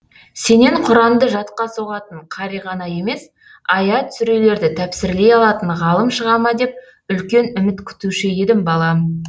сенен құранды жатқа соғатын қари ғана емес аят сүрелерді тәпсірлей алатын ғалым шыға ма деп үлкен үміт күтуші едім балам